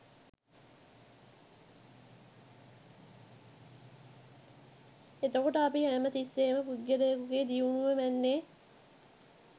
එතකොට අපි හැම තිස්සේම පුද්ගලයෙකුගේ දියුණුව මැන්නේ